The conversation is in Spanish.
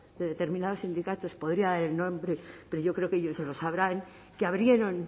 de determinados sindicatos podría dar el nombre pero yo creo que ellos lo sabrán que abrieron